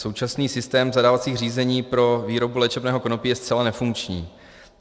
Současný systém zadávacích řízení pro výrobu léčebného konopí je zcela nefunkční.